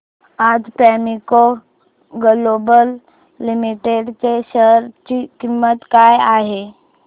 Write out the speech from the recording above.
आज Premco global limited च्या share ची किंमत काय आहे